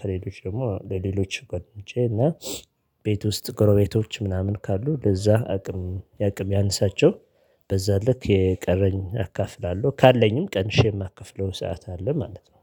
ከሌሎች ደግሞ ለሌሎች ጕደኞቼ እና ቤት ውስጥ ጎረቤቶች ምናምን ካሉ ለዚያ አቅም የአቅም ያነሳቸው። በዚያ ልክ የቀረኝ አካፍላለሁ ካለኝም ቀንሼ የማከፍለው ሰዓት አለ ማለት ነው